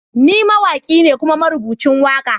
Ni mawaki ne kuma marubucin waka.